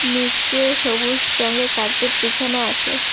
নীচে সবুজ রঙের কার্পেট বিছানো আছে।